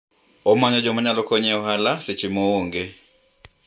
anatafuta watu wa kumsaidia katika biashara yake wakati hayuko